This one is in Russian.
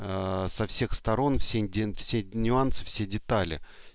со всех сторон все нюансы все детали